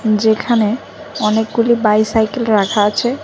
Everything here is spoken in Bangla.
যেখানে অনেকগুলি বাইসাইকেল রাখা আছে